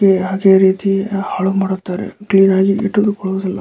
ಹಾಗೆ ಅದೇ ರೀತಿ ಹಾಳು ಮಾಡುತ್ತಾರೆ ಕ್ಲೀನ್ ಆಗಿ ಇಟ್ಟುಕೊಳ್ಳುದಿಲ್ಲ.